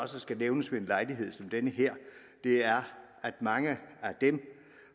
skal nævnes ved en lejlighed som den her er at mange af dem